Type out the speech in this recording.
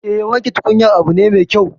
Eh, wanke tukunyar abu ne mai kyau